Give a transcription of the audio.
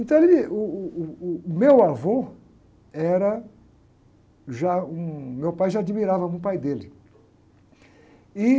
Então, ele, uh, uh, uh, meu avô era já um, meu pai já admirava o pai dele.